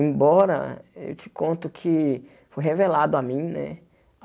Embora, eu te conto que foi revelado a mim, né?